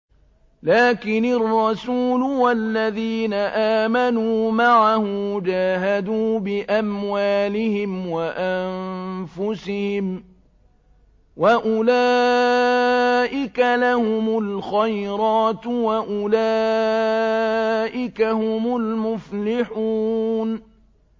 لَٰكِنِ الرَّسُولُ وَالَّذِينَ آمَنُوا مَعَهُ جَاهَدُوا بِأَمْوَالِهِمْ وَأَنفُسِهِمْ ۚ وَأُولَٰئِكَ لَهُمُ الْخَيْرَاتُ ۖ وَأُولَٰئِكَ هُمُ الْمُفْلِحُونَ